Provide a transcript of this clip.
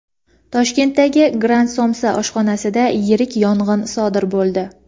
Toshkentdagi "Grant somsa" oshxonasida yirik yong‘in sodir bo‘ldi.